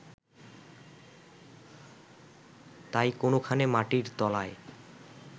তাই কোনখানে মাটির তলায়